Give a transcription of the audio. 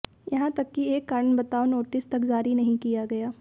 यहां तक कि एक कारण बताओ नोटिस तक जारी नहीं किया गया